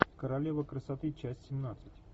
королева красоты часть семнадцать